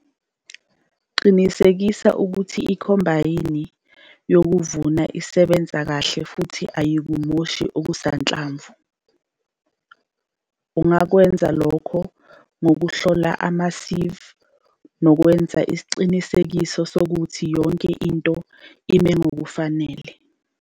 Qinisekisa ukuthi ikhombayini yokuvuna isebenza kahle futhi ayikumoshi okusanhlamvu. Ungakwenza lokhu ngokuhlola ama-seive nokwenza isiqiniseko sokuthi yonke into imi ngokufanele.